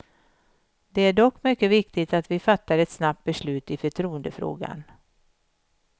Det är dock mycket viktigt att vi fattar ett snabbt beslut i förtroendefrågan.